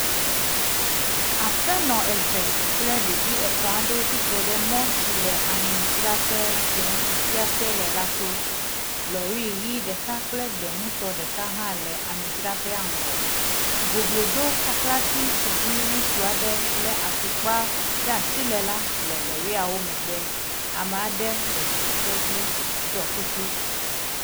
Aƒenɔ eve kple ɖevi etɔ̃ aɖewo tsitre ɖe mɔ si le ami dzraƒe si ŋuti fiase le la to. Lɔri ʋi ɖeka kple gbe mu tɔ hã le amidzraƒea ŋgɔ. Boblodokaklati si ŋutsu aɖe lé atukpa ɖe asi le la le lɔria megbe. Ame aɖe le dzo keke dzi ɖɔ kuku.